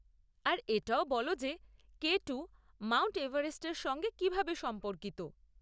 আর এটাও বল যে কে টু মাউন্ট এভারেস্ট এর সঙ্গে কিভাবে সম্পর্কিত।